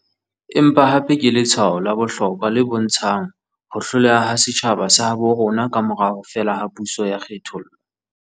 Empa hape ke letshwao la bohlokwa le bontshang ho hloleha ha setjhaba sa habo rona kamora ho fela ha puso ya kge-thollo.